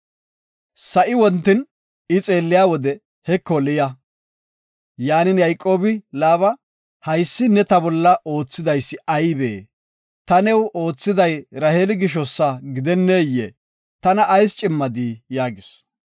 Sa7ay wontin I xeelliya wode, heko, Liya. Yayqoobi Laaba, “Haysi neeni ta bolla oothidaysi aybee? Taani new oothiday Raheeli gishosa gidenneyee? Tana ayis cimmadi” yaagis.